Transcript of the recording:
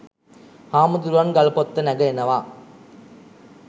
හාමුරුවන් ගල්පොත්ත නැඟ එනවා